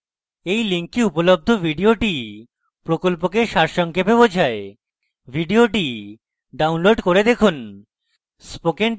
এই link উপলব্ধ video প্রকল্পকে সারসংক্ষেপে বোঝায় video ডাউনলোড করে দেখুন